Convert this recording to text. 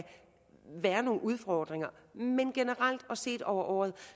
være nogle udfordringer men generelt og set over året